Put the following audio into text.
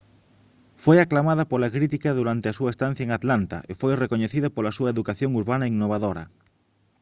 foi aclamada pola crítica durante a súa estancia en atlanta e foi recoñecida pola súa educación urbana innovadora